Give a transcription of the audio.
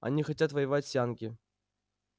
они хотят воевать с янки